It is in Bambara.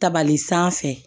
Tabali sanfɛ